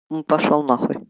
пошёл нахуй